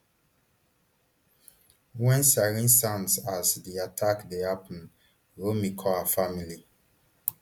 wen sirens sound as di attack dey happun romi call her family